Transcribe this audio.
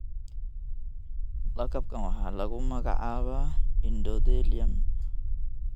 Lakabkaan waxaa lagu magacaabaa endothelium.